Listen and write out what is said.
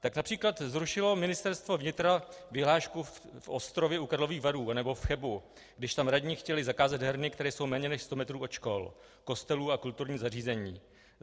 Tak například zrušilo Ministerstvo vnitra vyhlášku v Ostrově u Karlových Varů nebo v Chebu, když tam radní chtěli zakázat herny, které jsou méně než sto metrů od škol, kostelů a kulturních zařízení.